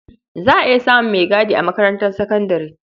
Za a iya samun maigadi a makarantar sakandare.